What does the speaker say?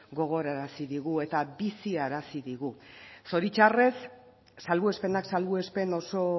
gogorarazi digu eta biziarazi digu zoritxarrez salbuespenak salbuespen oso